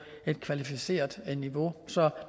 et kvalificeret niveau så